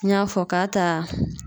N y'a fɔ k'a t'a